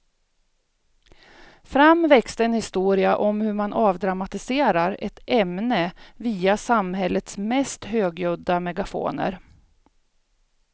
Fram växte en historia om hur man avdramatiserar ett ämne via samhällets mest högljudda megafoner.